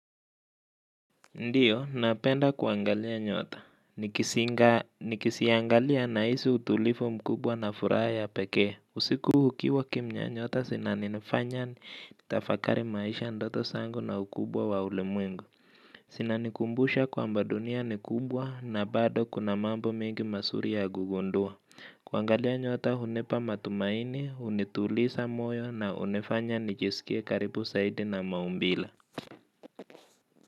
Ndiyo, napenda kuangalia nyota. Nikiziangalia nahisi utulivu mkubwa na furaha ya pekee. Usiku ukiwa kimya, nyota zinanifanya nitafakari maisha, ndoto zangu na ukubwa wa ulimwengu. Zinanikumbusha kwamba dunia ni kubwa na bado kuna mambo mengi mazuri ya kugundua. Kuangalia nyota hunipa matumaini, hunituliza moyo na hunifanya nijisikie karibu zaidi na maumbile.